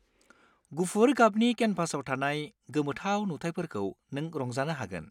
गुफुर गाबनि केनभासाव थानाय गोमोथाव नुथायफोरखौ नों रंजानो हागोन।